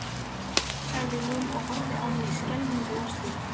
sagði hún og horfði á mig skelfingu lostin.